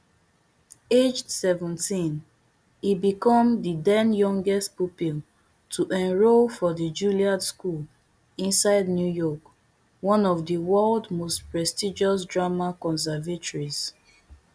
aged seventeen e become di denyoungest pupil to enrol for di julliard school inside new york one of di world most prestigious drama conservatories